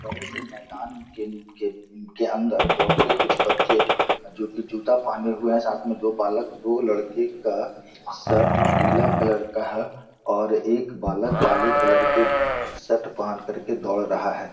बड़े से मैदान किन के के अंदर दौड़ते कुछ बच्चे जो की जूता पहने हुए हैं साथ मे दो बालक दो लड़के का शर्ट पीला कलर का है एक काले कलर के शर्ट पहन करके दौड़ रहा है।